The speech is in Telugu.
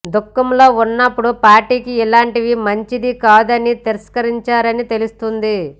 దుఖంలో ఉన్నప్పుడు పార్టీకి ఇలాంటివి మంచిది కాదని తిరస్కరించారని తెలుస్తోంది